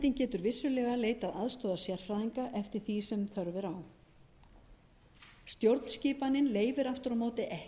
vissulega leitað aðstoðar sérfræðinga eftir því sem þörf er á stjórnskipanin leyfir aftur á móti ekki